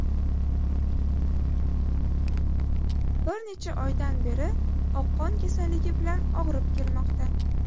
Bir necha oydan beri oqqon kasalligi bilan og‘rib kelmoqda.